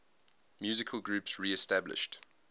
musical groups reestablished